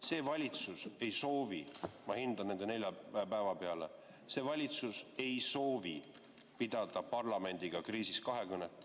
See valitsus ei soovi – ma hindan nende nelja päeva pealt –, see valitsus ei soovi pidada parlamendiga kriisis kahekõnet.